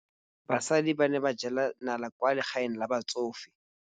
Basadi ba ne ba jela nala kwaa legaeng la batsofe.